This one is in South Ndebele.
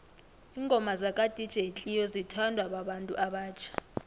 ingoma zaka dj cleo zithanwa babantu abatjha